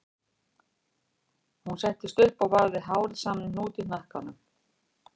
Hún settist upp og vafði hárið saman í hnút í hnakkanum